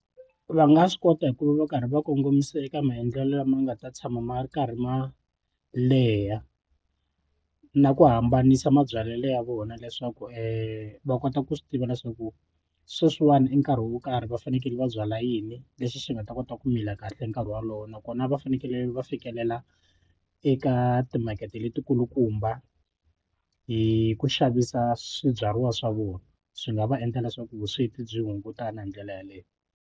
Va nga swi kota hi ku va va karhi va kongomisa eka maendlelo lama nga ta tshama ma ri karhi ma leha na ku hambanisa mabyalelo ya vona leswaku va kota ku swi tiva leswaku sweswiwani i nkarhi wo karhi va fanekele va byala yini lexi xi nga ta kota ku mila kahle nkarhi wolowo nakona va fanekele va fikelela eka timakete leti kulukumba hi ku xavisa swibyariwa swa vona swi nga va endla leswaku vusweti byi hungutana hi ndlela yeleyo.